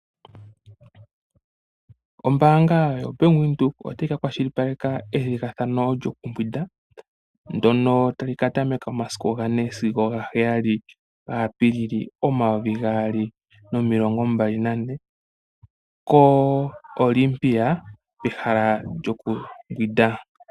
Ombaanga yoBank Windhoek otayi ka kwashilipaleka ethigathano lyokumbwinda ndono tali katameka muga 4 sigo ga7 Apilili 2024 ko Olympia pehala lyokumbwinda.